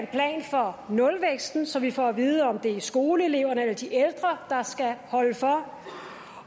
for nulvæksten så vi får at vide om det er skoleeleverne eller de ældre der skal holde for